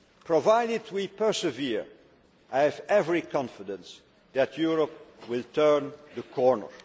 Provided we persevere, I have every confidence that Europe will turn the corner.